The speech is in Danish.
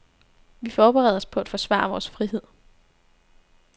Vi forbereder os på at forsvare vores frihed.